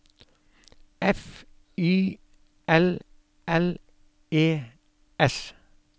F Y L L E S